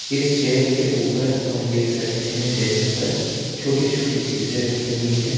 इस चेयर के ऊपर हम देख सकते हैं डेस्क पर छोटी छोटी चीजें रखी हुई हैं।